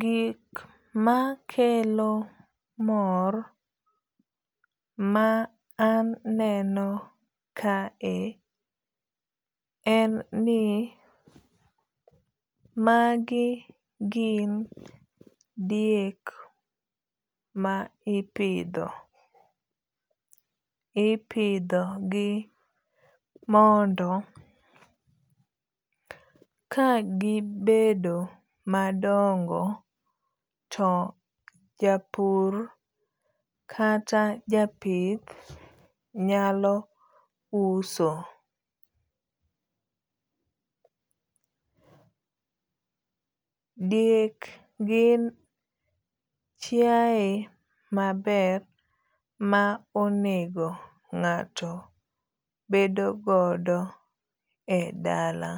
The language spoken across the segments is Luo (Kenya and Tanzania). Gik makelo mor ma aneno kae en ni magi gin diek ma ipidho. Ipidho gi mondo kagibedo madongo to japur kata japith nyalo uso. Diek gin chiaye maber ma onego ng'ato bedo godo e dala.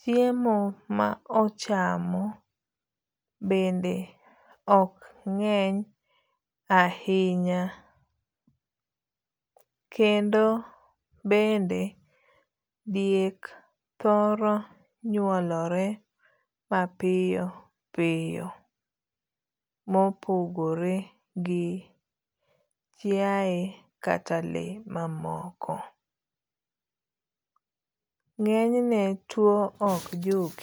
Chiemo ma ochamo bende ok ng'eny ahinya' Kendo bende diek thoro nyuolore mapiyo piyo mopogore gi chiaye kata le mamoko. Ng'enyne tuo ok juke.